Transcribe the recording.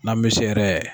N'an bɛ se yɛrɛ